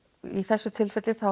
í þessu tilfelli